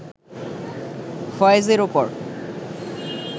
ফয়েজের ওপর